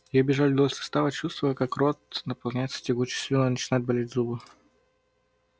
я бежал вдоль состава чувствуя как рот наполняется тягучей слюной начинают болеть зубы